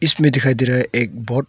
इसमें दिखाई दे रहा है एक बोट ।